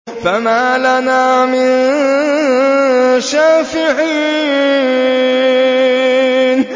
فَمَا لَنَا مِن شَافِعِينَ